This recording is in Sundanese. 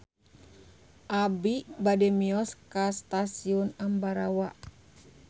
Abi bade mios ka Stasiun Ambarawa